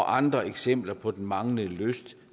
andre eksempler på den manglende lyst